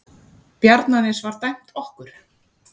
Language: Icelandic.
Bjarnanes var dæmt okkur!